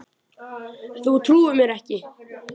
Þú trúir mér ekki?